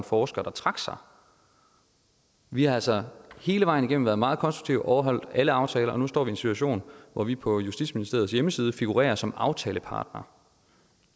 forsker der trak sig vi har altså hele vejen igennem været meget konstruktive og overholdt alle aftaler og nu står vi i en situation hvor vi på justitsministeriets hjemmeside figurerer som aftalepartner